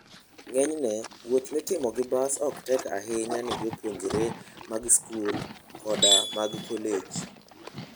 Ng'enyne, wuoth mitimo gi bas ok tek ahinya ne jopuonjre mag skul koda mag kolej.